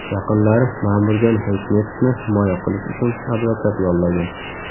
Yaqinlari Ma’murjon Hayitmetovni himoya qilish uchun advokat yollagan.